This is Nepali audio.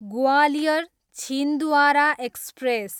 ग्वालियर, छिन्द्वारा एक्सप्रेस